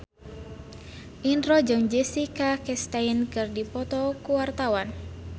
Indro jeung Jessica Chastain keur dipoto ku wartawan